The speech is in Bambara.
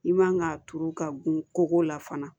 I man ka turu ka gun koko la fana